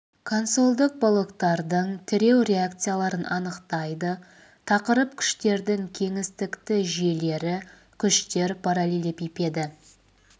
консольдық балоктардың тіреу реакцияларын анықтайды тақырып күштердің кеңістікті жүйелері күштер параллелепипеді